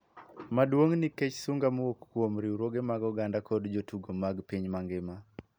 Maduong' nikech sunga mowuok kuom riwruoge mag oganda kod jotugo mag piny mangima.